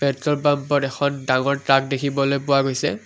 Petrol পাম্পত এখন ডাঙৰ ট্ৰাক দেখিবলৈ পোৱা গৈছে।